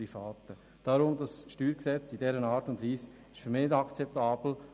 Deshalb ist das StG in dieser Art und Weise für mich nicht akzeptabel.